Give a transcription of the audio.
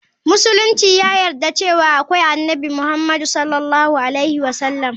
Musulunci ya yarda cewa akwai Annabi Muhammadu S.A.W.